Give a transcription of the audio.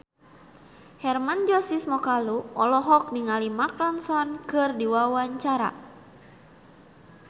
Hermann Josis Mokalu olohok ningali Mark Ronson keur diwawancara